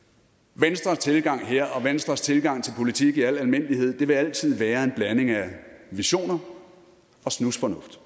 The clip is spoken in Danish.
venstres tilgang her og venstres tilgang til politik i al almindelighed vil altid være en blanding af visioner og snusfornuft